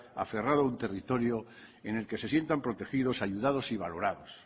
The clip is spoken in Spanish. aferrado a un territorio en el que se sientan protegidos ayudados y valorados